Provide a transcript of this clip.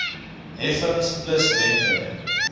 heffings plus rente